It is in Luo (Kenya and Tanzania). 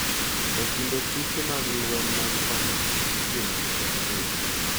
e kinde tuke mag lweny mag Kano ma itimo higa ka higa,